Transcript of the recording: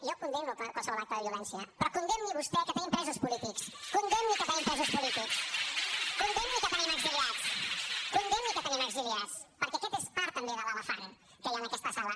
jo condemno qualsevol acte de violència però condemni vostè que tenim presos polítics condemni que tenim presos polítics condemni que tenim exiliats condemni que tenim exiliats perquè aquest és part també de l’elefant que hi ha en aquesta sala